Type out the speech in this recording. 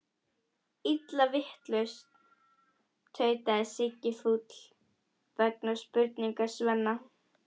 Illa vitlaus, tautaði Siggi fúll vegna spurningar Svenna.